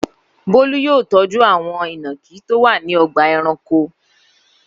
Bólú yóò tọ́jú àwọn ìnàkí tó wà ní ọgbà-ẹranko.